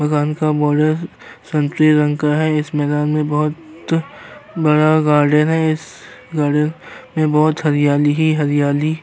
इस मकान का बोर्डर संतरी रंग का है। इस मैंदान मे बोहोत बड़ा गार्डन है। इस गार्डन मे बोहोत हरियाली ही हरियाली --